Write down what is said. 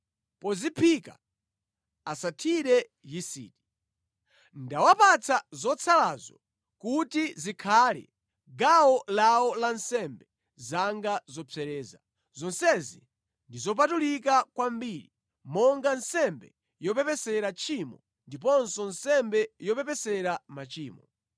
Poziphika asathire yisiti. Ndawapatsa zotsalazo kuti zikhale gawo lawo la nsembe zanga zopsereza. Zonsezi ndi zopatulika kwambiri monga nsembe yopepesera tchimo ndiponso nsembe yopepesera machimo.